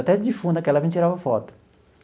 Até de defunto, naquela época, a gente tirava foto.